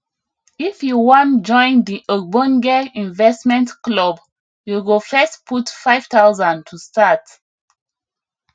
if you wan join the ogbonge investment club you go first put 5000 to start